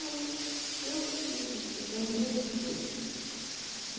Aí, eu eu lembrei o quê?